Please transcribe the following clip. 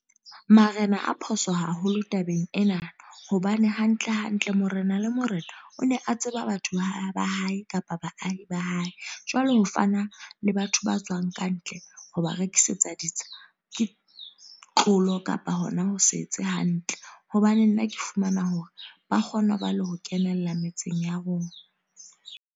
Marena a phoso haholo tabeng ena. Hobane hantle hantle, Morena le Morena o ne a tseba batho ba ba hae, kapa baahi ba hae. Jwale ho fana le batho ba tswang ka ntle, ho ba rekisetsa ditsha. Ke tlolo kapa hona ho se etse hantle. Hobane nna ke fumana hore, ba kgona ho ba le ho kenella metseng ya rona.